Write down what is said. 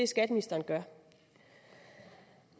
skatteministeren gør